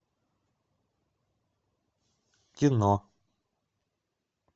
кино